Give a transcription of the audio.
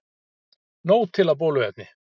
Nóg til af bóluefni